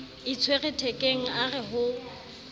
itshwere thekeng a re ho